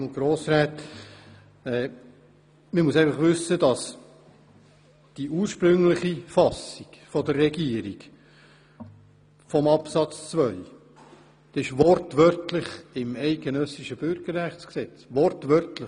Man muss wissen, dass die ursprüngliche Fassung der Regierung von Artikel 12 Absatz 2 wortwörtlich im eidgenössischen Bundesgesetz über Erwerb und Verlust des Schweizer Bürgerrechts (Bürgerrechtsgesetz, BüG) steht.